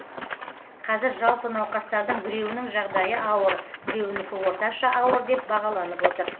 қазір жалпы науқастардың біреуінің жағдайы ауыр біреуінікі орташа ауыр деп бағаланып отыр